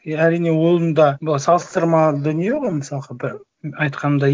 е әрине оның да былай салыстырмалы дүние ғой мысалға да айтқанымдай